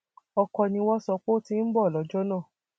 ọkọ ni wọn sọ pé ó ti ń bọ lọjọ náà